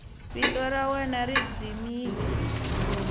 vito ra wena ri dzimile